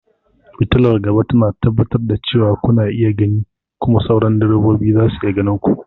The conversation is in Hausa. Fitalar gaba tana tabbatar da cewa kuna iya gani kuma sauran direbobi za su iya ganin ku.